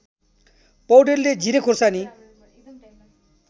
पौडेलले जिरे खुर्सानी